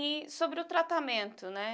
E sobre o tratamento, né?